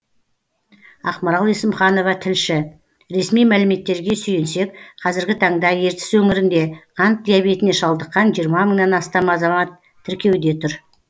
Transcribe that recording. ақмарал есімханова тілші ресми мәліметтерге сүйенсек қазіргі таңда ертіс өңірінде қант диабетіне шалдыққан мыңнан астам азамат тіркеуде тұр